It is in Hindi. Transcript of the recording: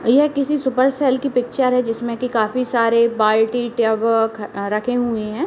यह किसी सुपर सेल की पिक्चर है जिसमे की काफी सारे बाल्टी टेबक रखे हुए हैं।